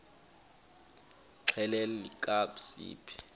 xelel kabs iphi